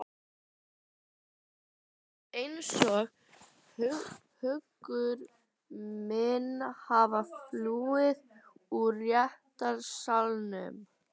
Mér finnst skyndilega einsog hugur minn hafi flúið úr réttarsalnum.